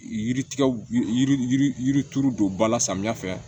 Yiri tigɛ yiri yiri yirituru don ba la samiya fɛ